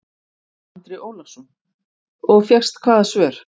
Andri Ólafsson: Og fékkst hvaða svör?